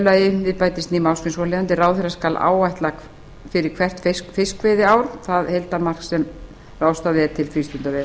lagi svohljóðandi við bætist ný málsgrein svohljóðandi ráðherra skal áætla fyrir hvert fiskveiðiár það heildaraflamark sem ráðstafað er til frístundaveiða